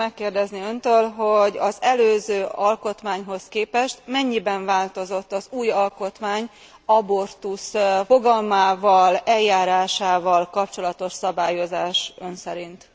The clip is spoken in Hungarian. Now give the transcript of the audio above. Szeretném megkérdezni öntől, hogy az előző alkotmányhoz képest mennyiben változott az új alkotmány abortusz fogalmával, eljárásával kapcsolatos szabályozás ön szerint?